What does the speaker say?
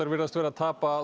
virðast vera að tapa